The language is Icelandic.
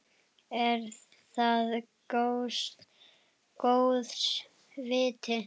Er það góðs viti.